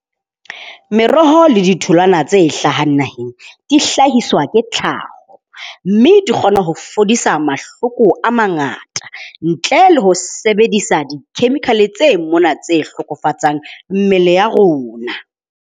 Meroho le ditholwana tse hlahang naheng dihlahiswa ke tlhaho, mme di kgona ho fodisa mahloko a mangata ntle le ho sebedisa di-chemical tse mona tse hlokofatsang mmele ya rona.